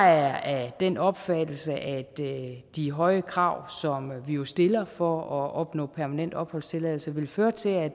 er af den opfattelse at de høje krav som vi jo stiller for at opnå permanent opholdstilladelse vil føre til at